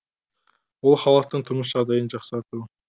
ол халықтың тұрмыс жағдайын жақсарту